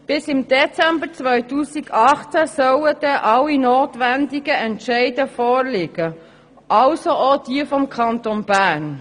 Bis im Dezember 2018 sollen alle notwendigen Entscheide vorliegen, also auch diejenigen des Kantons Bern.